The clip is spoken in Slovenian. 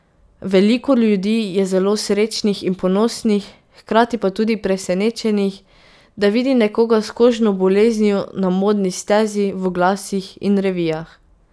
Veliko ljudi je zelo srečnih in ponosnih, hkrati pa tudi presenečenih, da vidi nekoga s kožno boleznijo na modni stezi, v oglasih in revijah.